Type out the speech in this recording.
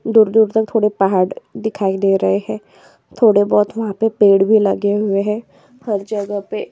दूर-दूर तक थोड़े पहाड़ दिखाई दे रहे हैं थोड़े बोहोत वहाँ पे पेड़ भी लगे हुए हैं हर जगह पे--